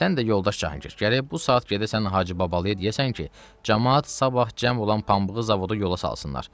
Sən də yoldaş Cahangir, gərək bu saat gedəsən Hacı Babalıya, deyəsən ki, camaat sabah cəm olan pambığı zavoda yola salsınlar.